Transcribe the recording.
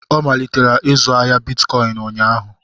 Ọ malitere ịzụ ahịa bitcọịn ụnyaahụ.